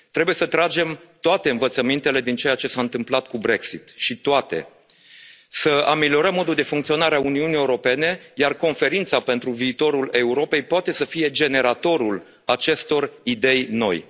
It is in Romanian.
Trebuie să tragem toate învățămintele din ceea ce s a întâmplat cu Brexitul și, poate, să ameliorăm modul de funcționare a Uniunii Europene, iar Conferința pentru viitorul Europei poate să fie generatorul acestor idei